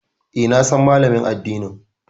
E, na san Malamin addinin.